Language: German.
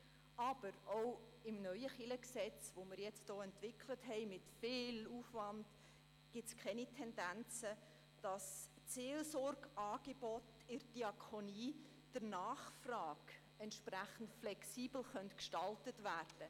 Aber auch im neuen LKG, das wir mit viel Aufwand entwickelt haben, gibt es keine Tendenzen, die Seelsorgeangebote in der Diakonie entsprechend der Nachfrage flexibel zu gestalten.